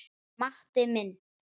Matti minn.